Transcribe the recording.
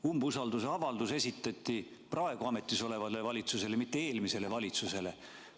Umbusaldusavaldus esitati praegu ametis olevale valitsusele, mitte eelmisele valitsusele.